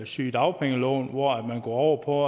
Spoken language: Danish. sygedagpengeloven hvor man går over på